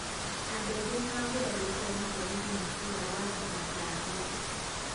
Andũ aingĩ nĩmagurarĩtio nĩ borithi makĩiga watho na thayũ